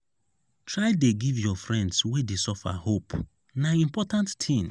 try dey give your friends wey dey suffer hope na important tin.